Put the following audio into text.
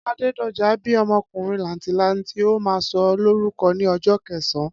Adédojà bíí ọmọkùnrin làǹtìlanti, a má sọ lórúko ní ojó kẹsán